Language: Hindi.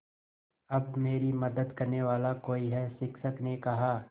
अब मेरी मदद करने वाला कोई है शिक्षक ने कहा